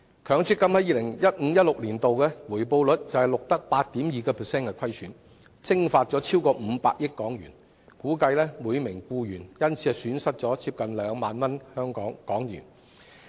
強積金於 2015-2016 年度便錄得 8.2% 虧損，蒸發超過500億港元，估計每名僱員因而損失近2萬港元。